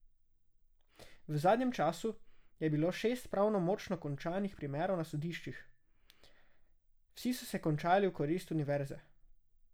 V zadnjem času je bilo šest pravnomočno končanih primerov na sodiščih, vsi so se končali v korist univerze.